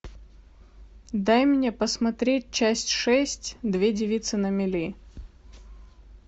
дай мне посмотреть часть шесть две девицы на мели